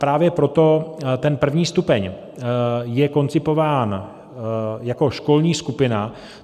Právě proto ten první stupeň je koncipován jako školní skupina.